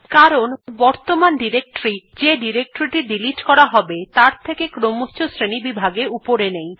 কারণ বর্তমান ডিরেক্টরী যে ডিরেক্টরী টি ডিলিট করা হবে তার থকে ক্রমচ্ছ শ্রেণীবিভাগে উপরে নেই